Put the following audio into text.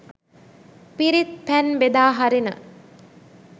පිරිත් පැන් බෙදා හරින